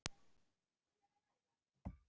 Tildrög þess eru ókunn.